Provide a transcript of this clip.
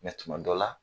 tuma dɔ la